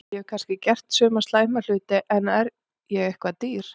Ég hef kannski gert suma slæma hluti en er ég eitthvað dýr?